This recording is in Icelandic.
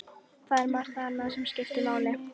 Það er margt annað sem skiptir máli.